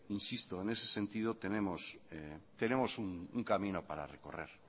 en ese sentido tenemos un camino para recorrer